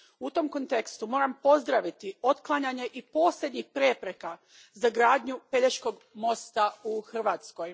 U tom kontekstu moram pozdraviti otklanjanje i posljednjih prepreka za gradnju Pelješkog mosta u Hrvatskoj.